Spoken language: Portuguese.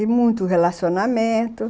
E muito relacionamento.